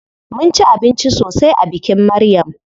Mun ci abinci sosai a bikin Maryam.